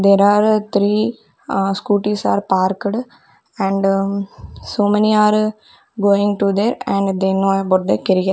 there are three scooties are parked and so many are going to there and they know about their --